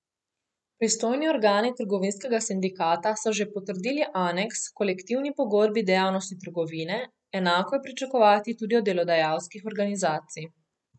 Pristojni organi trgovinskega sindikata so že potrdili aneks h kolektivni pogodbi dejavnosti trgovine, enako je pričakovati tudi od delodajalskih organizacij.